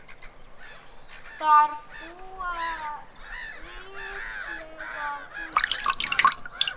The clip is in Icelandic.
Þar búa ríflega þúsund manns.